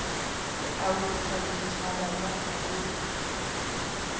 alusa zwitshavha zwa kha vhupo